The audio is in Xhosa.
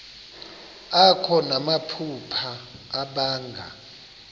akho namaphupha abanga